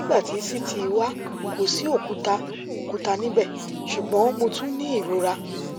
nigbati ct wa ko si okuta okuta nibẹ ṣugbọn mo tun ni irora